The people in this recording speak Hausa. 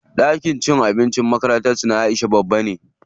Ɗakin cin abincin makarantar su Aisha babba ne.